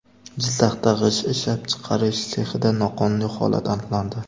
Jizzaxda g‘isht ishlab chiqarish sexida noqonuniy holat aniqlandi.